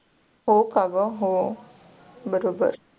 हो का ग हो बरोबर.